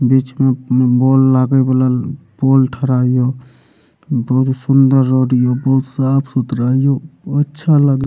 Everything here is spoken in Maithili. बीच-बीच में बॉल लागे वाला पोल ठरा हियो बहुत सूंदर रोड हियो बहुत साफ-सुथरा हियो अच्छा लग र --